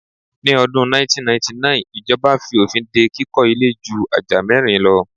Ni ọdún 1999 ijọba fi òfin dé kíkọ ilé ju ajá mẹ́rin lo